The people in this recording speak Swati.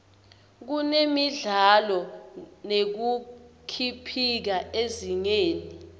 kutemidlalo nekukhibika ezingeni